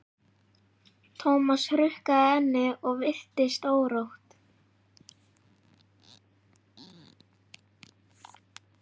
Thomas hrukkaði ennið og virtist órótt.